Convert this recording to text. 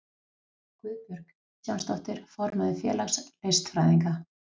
Guðbjörg Kristjánsdóttir, formaður félags listfræðinga.